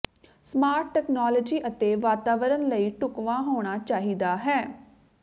smart technology ਅਤੇ ਵਾਤਾਵਰਨ ਲਈ ਢੁਕਵਾਂ ਹੋਣਾ ਚਾਹੀਦਾ ਹੈ